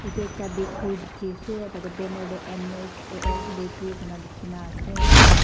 yatae ekta bakery dikhiase tatae banner tae M_S A_S bakery kurina likhina ase.